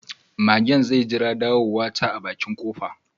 Magen zai jira ɗawowata a bakin kofa.